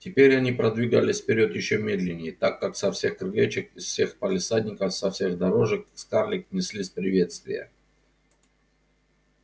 теперь они продвигались вперёд ещё медленнее так как со всех крылечёк из всех палисадников со всех дорожек к скарлетт неслись приветствия